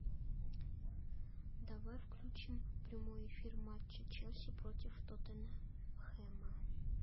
давай включим прямой эфир матча челси против тоттенхэма